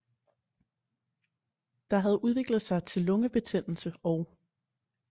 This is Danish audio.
Der havde udviklet sig til lungebetændelse og